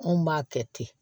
Anw b'a kɛ ten